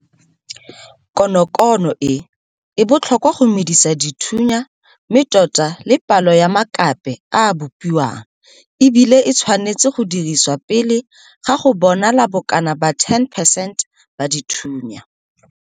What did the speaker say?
Konokono e, e botlhokwa go medisa dithunya mme tota le palo ya makape a a bopiwang, e bile e tshwanetswe go dirisiwa pele ga go bonala bokana ba 10 percent ba dithunya.